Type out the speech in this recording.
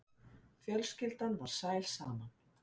Fjölskyldan var sæl saman.